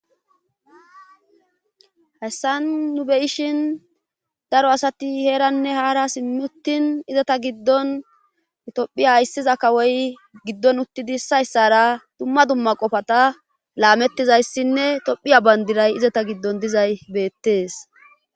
hessan nu be ishin daro asati heeranne haara simmi uttin izata giddon tophiya hayssiza kawoy giddon uttidi issayssara dumma dumma qofata laamettizayssinne tophiya bandiray izata giddon dizay beettees